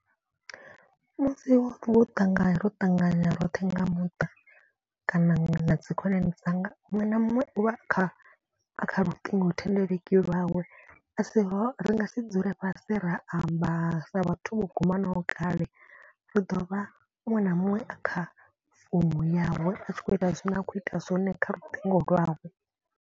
Musi vho ṱangana ro ṱangana roṱhe nga muṱa kana na dzi khonani dzanga. Muṅwe na muṅwe u vha a kha kha luṱingo thendeleki lwawe a si ro ri nga si dzule fhasi ra amba sa vhathu vho gumanaho kale. Ri ḓo vha muṅwe na muṅwe a kha founu yawe a tshi khou ita zwine a khou ita zwone kha luṱingo lwawe.